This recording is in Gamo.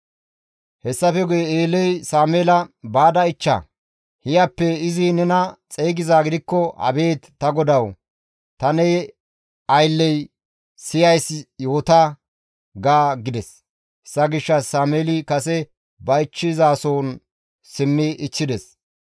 Hessafe guye Eeley Sameela, «Baada ichcha; hiyappe izi nena xeygizaa gidikko, ‹Abeet ta GODAWU, ta ne aylley siyays yoota› ga» gides. Hessa gishshas Sameeli kase ba ichchizason simmi biidi ichchides.